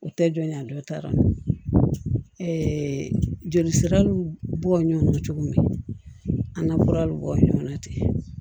U tɛ jɔnya dɔ ta joli siraw bɔ ɲɔn na cogo min an ka fura bi bɔ ɲɔgɔn na ten